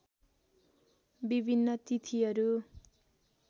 विभिन्न तिथिहरू